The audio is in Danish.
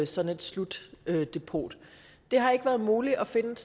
sådan et slutdepot det har ikke været muligt at finde et